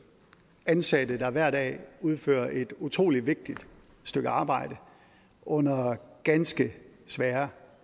ansatte der hver dag udfører et utrolig vigtigt stykke arbejde under ganske svære